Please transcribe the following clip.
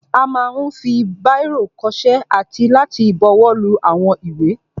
A ma ń fi báìrò kọṣẹ́ àti láti buwọ́lu àwọn ìwé.